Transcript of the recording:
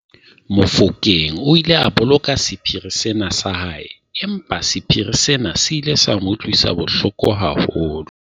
Mofokeng o ile a boloka sephiri sena sa hae empa sephiri sena se ile sa mo utlwisa bohloko haholo.